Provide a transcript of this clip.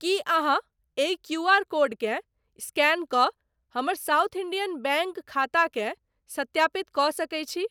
की अहाँ एहि क्यूआर कोडकेँ स्कैन कऽ हमर साउथ इंडियन बैंक खाताकेँ सत्यापित कऽ सकैत छी ?